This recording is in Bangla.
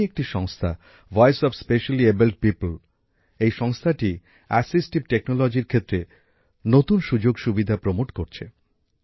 এমনই একটি সংস্থা ভয়েস অফ স্পেশালিএবলড পিওপ্ল এই সংস্থাটি সহায়ক প্রযুক্তির ক্ষেত্রে নতুন সুযোগসুবিধার ব্যবস্থা করছে